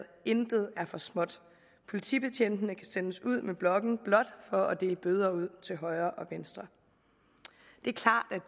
intet er for småt politibetjentene kan sendes ud med blokken blot for dele bøder ud til højre og venstre